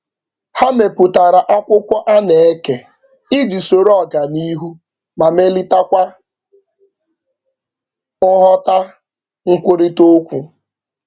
Ha mepụtara akwụkwọ a na-eke iji soro ọganihu ma melitakwa nghọta nkwurịta okwu.